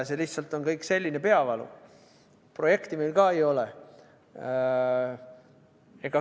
See lihtsalt on kõik selline peavalu, projekti meil ka ei ole.